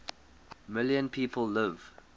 million people live